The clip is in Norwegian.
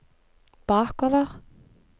bakover